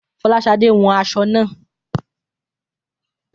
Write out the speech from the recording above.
Fọláṣadé wọn aṣọ naa